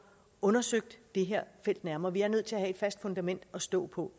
undersøgt det her felt nærmere vi er nødt til at have et fast fundament at stå på